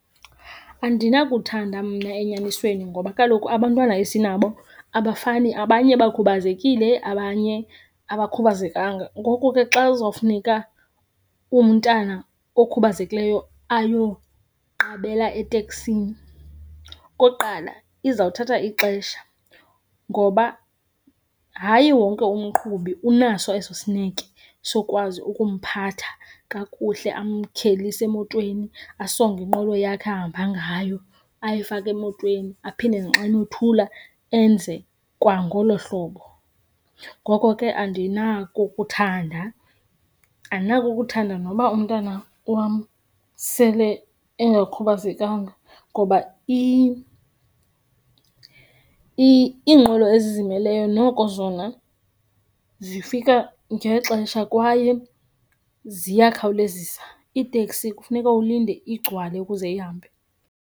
Andinakuthanda mna enyanisweni ngoba kaloku abantwana esinabo abafani. Abanye bekhubazekile, abanye abakhubazekanga. Ngoku ke xa kuzawufuneka umntana okhubazekileyo ayoqabela eteksini. Okokuqala, izawuthatha ixesha ngoba hayi wonke umqhubi unaso eso sineke sokwazi ukumphatha kakuhle, amkhwelise emotweni, asonge inqwelo yakhe ahamba ngayo, ayifake emotweni aphinde xa emothula enze kwangolo hlobo. Ngoko ke andinakukuthanda, andinakukuthanda noba umntana wam sele engakhubazekanga ngoba iinqwelo ezizimeleyo noko zona zifika ngexesha kwaye ziyakhawulezisa. Iiteksi kufuneka ulinde igcwale ukuze ihambe.